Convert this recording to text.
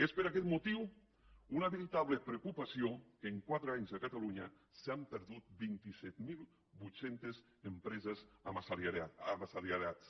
és per aquest motiu una veritable preocupació que en quatre anys a catalunya s’hagin perdut vint set mil vuit cents empreses amb assalariats